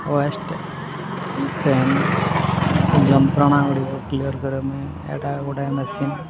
ଯନ୍ତ୍ରଣା ଗୁଡ଼ିକୁ କ୍ଳିଅର କରନ୍ତି ଏଟା ଗୋଟେ ମେସିନ ।